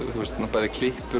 bæði